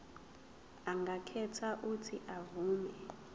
angakhetha uuthi avume